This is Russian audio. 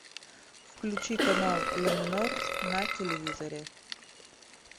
включи канал ля минор на телевизоре